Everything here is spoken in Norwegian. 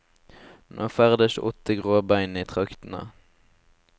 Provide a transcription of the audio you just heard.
Nå ferdes åtte gråbein i traktene.